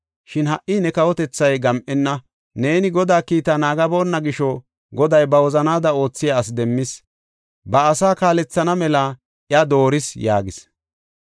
Shin ha77i ne kawotethay gam7enna; neeni Godaa kiita naagaboonna gisho, Goday ba wozanaada oothiya asi demmis; ba asaa kaalethana mela iya dooris” yaagis.